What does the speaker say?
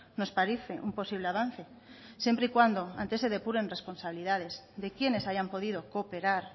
nos parece un posible avance siempre y cuando antes se depuren responsabilidades de quiénes hayan podido cooperar